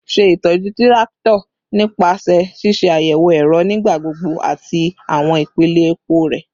Ṣe itọju tirakito nipasẹ ṣiṣe ayẹwo ẹrọ nigbagbogbo ati awọn ipele epo rẹ